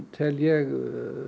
tel ég